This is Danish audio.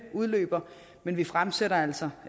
udløber men vi fremsætter altså